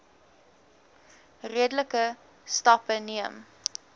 redelike stappe neem